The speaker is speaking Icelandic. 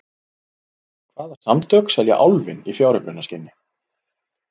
Hvaða samtök selja Álfinn í fjáröflunarskyni?